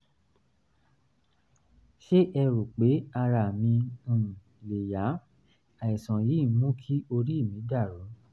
ṣé ẹ rò pé ara mi um lè yá? àìsàn yìí ń mú kí orí mi dàrú